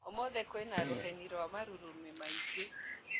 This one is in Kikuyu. Ũmũthĩ kwĩna rũheni na marurumĩ maingĩ